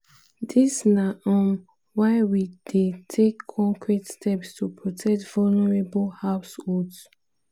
dis na um why we dey take concrete steps to protect vulnerable households."